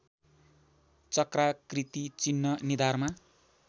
चक्राकृति चिह्न निधारमा